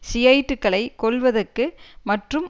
ஷியைட்டுகளை கொல்வதற்கு மற்றும்